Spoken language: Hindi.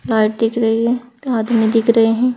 हाथ दिख रही है आदमी दिख रहे हैं।